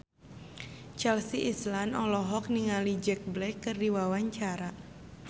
Chelsea Islan olohok ningali Jack Black keur diwawancara